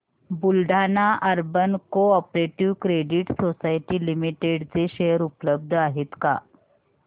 Buldhana urban cooperative credit society limited चे share उपलब्ध आहेत का